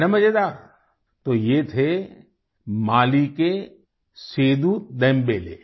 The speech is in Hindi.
है न मज़ेदार तो ये थे माली के सेदू देमबेले